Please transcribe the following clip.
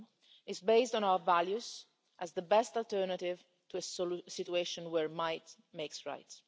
It is based on our values as the best alternative to a situation where might makes right.